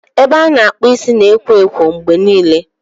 Ebe a na-akpụ isi na ekwo ekwo mgbe niile.